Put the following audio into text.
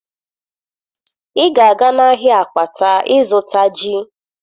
Ị ga-aga n'ahịa Akwata ịzụta ji!